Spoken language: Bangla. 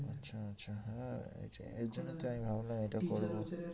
আচ্ছা আচ্ছা হ্যাঁ এর জন্য তো আমি ভাবলাম এটা করবো।